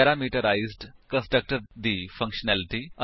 parameterised constructor ਦੀ functionality